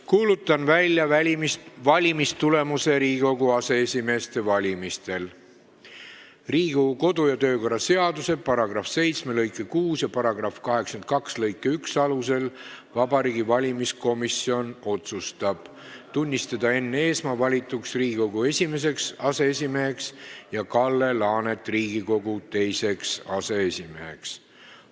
Kuulutan välja valimistulemuse Riigikogu aseesimeeste valimisel: "Riigikogu kodu- ja töökorra seaduse § 7 lõike 6 ja § 82 lõike 1 alusel Vabariigi Valimiskomisjon otsustab tunnistada Enn Eesmaa valituks Riigikogu esimeseks aseesimeheks ja Kalle Laanet Riigikogu teiseks aseesimeheks.